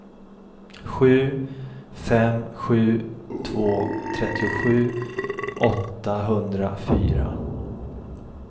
sju fem sju två trettiosju åttahundrafyra